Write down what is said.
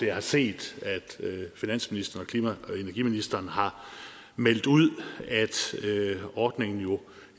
jeg har set at finansministeren og klima og energiministeren har meldt ud at ordningen